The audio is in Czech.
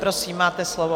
Prosím, máte slovo.